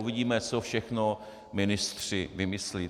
Uvidíme, co všechno ministři vymyslí.